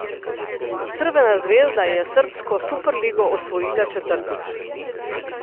Crvena zvezda je srbsko superligo osvojila četrtič.